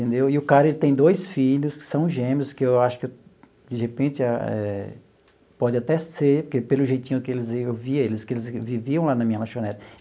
Entendeu e o cara ele tem dois filhos que são gêmeos, que eu acho que de repente eh pode até ser, que pelo jeitinho que eles iam eles viviam lá na minha lanchonete.